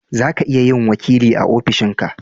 zaka iya yin wakili a ofishin ka